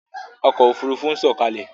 Ọkọ̀ Òfurufú ń sọ̀kalẹ̀!